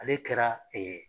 Ale kɛra .